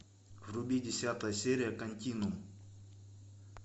вруби десятая серия континуум